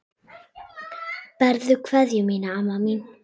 Berðu kveðju mína, amma mín.